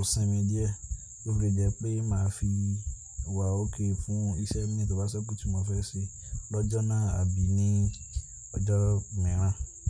na sín mi díẹ̀, kó fi jẹ́ pé màá fi wà okay fún iṣẹ́ mi tò bá sẹ́kù tí mò fẹ́ ṣe lọ́jọ́ náà àbí ní ọjọ́ mìíràn.